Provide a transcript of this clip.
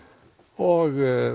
og